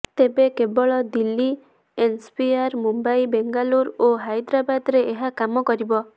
ତେବେ କେବଳ ଦିଲ୍ଲୀ ଏନ୍ସିଆର୍ ମୁମ୍ବାଇ ବେଙ୍ଗାଲୁରୁ ଓ ହାଇଦ୍ରାବାଦରେ ଏହା କାମ କରିବ